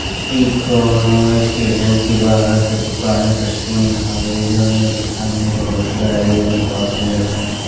इ कोनो स्टेशन के बाहर के दुकान के सीन हवे जोंने के सामने बहुत गाड़ियन के भीड़ बा।